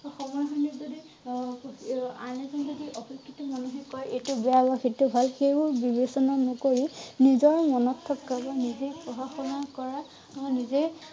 সময় খিনিত যদি অঅআন এজন যদি অশিক্ষিত মানুহে যদি কয় এইটো বেয়া বা সেইটো ভাল সেইবোৰ বিবেচনা নকৰি নিজৰ মনত থকা বা নিজেই পঢ়া শুনা কৰা নিজেই